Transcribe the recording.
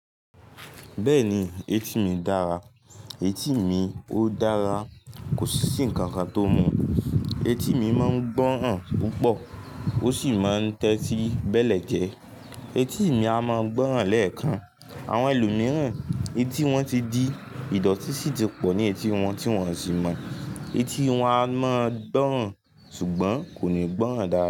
Bẹ́ẹ̀ni, etí mi dára. Etí mi ó dára, kò sí si ǹkan kan tó mọ̀. Etí mi máa ń gbọ́ràn púpọ̀ ó sì máa ń tẹ́tí bẹ́lẹ̀jẹ. Etí mi a máa gbọ́ràn lẹ́ẹ̀kan. Àwọn ẹlòmíràn etí wọn ti di ìdọ̀tí sì ti pọ̀ ní etí wọn tí wọ́n sì mọ̀. Etí wọn a máa gbọ́ràn ṣùgbọ́n kò ní gbọ́ràn dára.